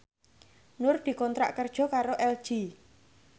Nur dikontrak kerja karo LG